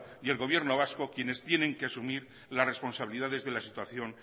y el gobierno vasco quienes tienen que asumir las responsabilidades de la situación